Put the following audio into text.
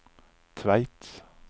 Tveit